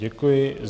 Děkuji.